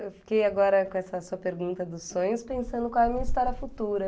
Eu fiquei agora com essa sua pergunta dos sonhos pensando qual é a minha história futura.